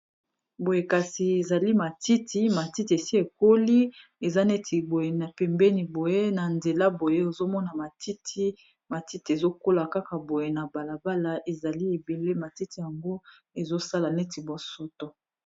boye kasi ezali matiti ,matiti esi ekoli eza neti boye na pembeni boye na nzela boye ozomona matiti matiti ezokola kaka boye na balabala ezali ebele matiti yango ezosala neti bosoto